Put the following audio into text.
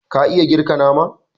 ka iya girka nama